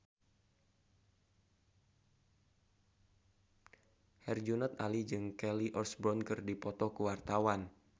Herjunot Ali jeung Kelly Osbourne keur dipoto ku wartawan